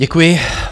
Děkuji.